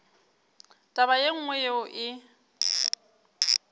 taba ye nngwe yeo e